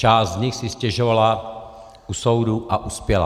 Část z nich si stěžovala u soudu a uspěla.